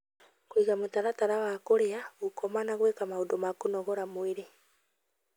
Kũiga mũtaratara wa kũrĩa, gũkoma na gwĩka maũndũ ma kũnogora mwĩrĩ